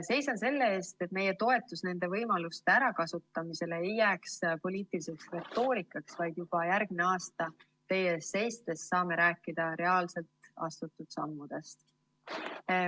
Seisan selle eest, et meie toetus nende võimaluste ärakasutamisele ei jääks poliitiliseks retoorikaks, vaid juba järgmine aasta teie ees seistes saaksime rääkida reaalsetest astutud sammudest.